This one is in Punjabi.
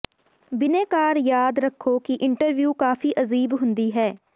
ਬਿਨੈਕਾਰ ਯਾਦ ਰੱਖੋ ਕਿ ਇੰਟਰਵਿਊ ਕਾਫ਼ੀ ਅਜੀਬ ਹੁੰਦੀ ਹੈ